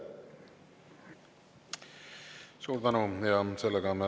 Suur tänu!